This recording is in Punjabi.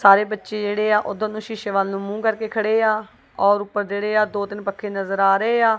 ਸਾਰੇ ਬੱਚੇ ਜਿਹੜੇਆ ਉੱਧਰ ਨੂੰ ਸ਼ੀਸ਼ੇ ਵੱਲ ਨੂੰ ਮੂੰਹ ਕਰਕੇ ਖੜੇਆ ਔਰ ਊਪਰ ਜਿਹੜੇ ਆ ਦੀ ਤਿੰਨ ਪੱਖੇ ਨਜ਼ਰ ਆ ਰਹੇ ਆ।